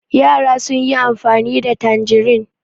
Yara sun yi amfani da tanjirin.